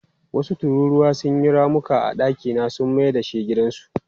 Wasu tururuwa sun yi ramuka a dakina sun mai da shi gidansu.